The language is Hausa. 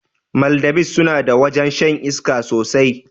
Maldives sunada wajrn shan iska sosai